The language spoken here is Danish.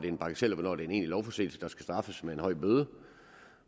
er en bagatel og hvornår det er en egentlig lovforseelse der skal straffes med en høj bøde